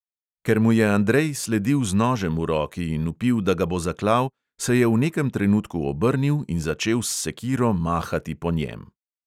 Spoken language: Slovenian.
Ker mu je andrej sledil z nožem v roki in vpil, da ga bo zaklal, se je v nekem trenutku obrnil in začel s sekiro mahati po njem.